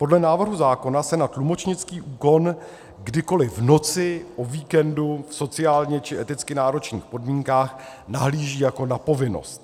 Podle návrhu zákona se na tlumočnický úkon kdykoli, v noci, o víkendu, v sociálně či eticky náročných podmínkách nahlíží jako na povinnost.